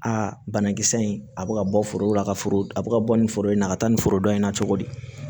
Aa banakisɛ in a bɛ ka bɔ foro la ka foro a bɛ ka bɔ nin foro in na a ka taa nin foro dɔn in na cogo di